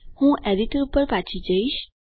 હું એડિટર ઉપર પછી જઈશ